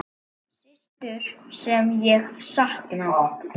Systur sem ég sakna.